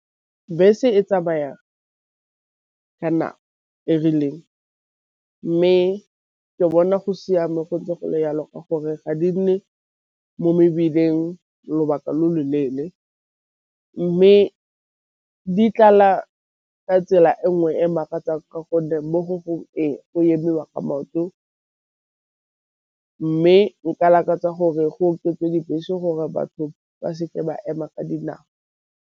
Bese e tsamayang ka nako e rileng, mme ke bona go siame go ntse gole jalo ka gore ga di nne mo mebileng lobaka lo loleele. Mme di tlala ka tsela e nngwe e makatsang ka gonne mo go gongwe e o emiwa ka maoto, mme nka lakatsa gore go okediwe dibese gore batho ba seke ba ema ka dinao.